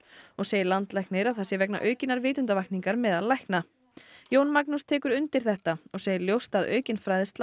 og segir landlæknir að það sé vegna aukinnar vitundarvakningar meðal lækna Jón Magnús tekur undir þetta og segir ljóst að aukin fræðsla